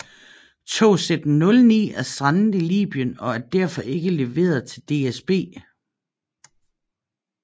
Togsæt 09 er strandet i Libyen og er derfor ikke leveret til DSB